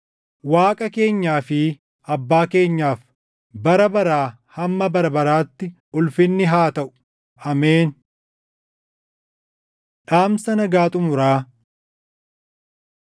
Waaqa keenyaa fi Abbaa keenyaaf bara baraa hamma bara baraatti ulfinni haa taʼu. Ameen. Dhaamsa Nagaa Xumuraa